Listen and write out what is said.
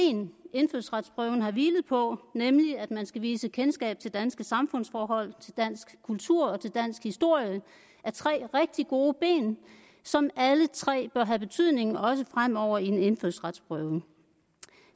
indfødsretsprøven har hvilet på nemlig at man skal vise kendskab til danske samfundsforhold til dansk kultur og til dansk historie er tre rigtig gode ben som alle tre bør have en betydning også fremover i en indfødsretsprøve